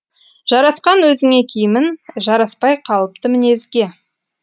жарасқан өзіңе киімін жараспай қалыпты мінезге